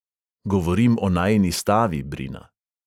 "Govorim o najini stavi, brina."